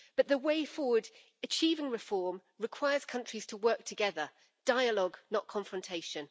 But the way forward achieving reform requires countries to work together dialogue, not confrontation.